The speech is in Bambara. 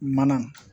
Mana